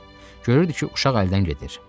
Görürdü ki, uşaq əldən gedir.